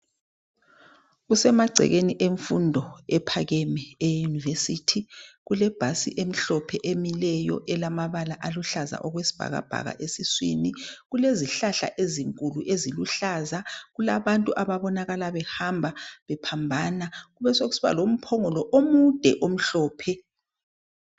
kusemagcekeni emfundo ephakemeyo university kulebhasi emhlophe emileyo elamabala aluhlaza okwesibhakabhaka esiswini kulezihlahla ezinkulu eziluhlaza kulabantu ababonakala behamba bephambana kubesekusiba lomphongolo omude omhlophe